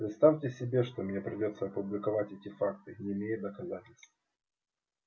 представьте себе что мне придётся опубликовать эти факты не имея доказательств